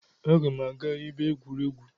Aga m aga ebe egwuregwu